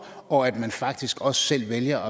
og at man faktisk også selv vælger